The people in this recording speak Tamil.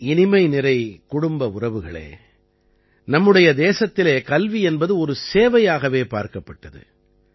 என் இனிமைநிறை குடும்ப உறவுகளே நம்முடைய தேசத்திலே கல்வி என்பது ஒரு சேவையாகவே பார்க்கப்பட்டது